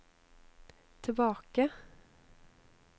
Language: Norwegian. tilbake